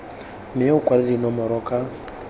mme o kwale dinomoro ka